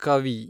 ಕವಿ